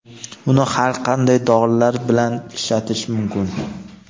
Uni har qanday dorilar bilan ishlatish mumkin.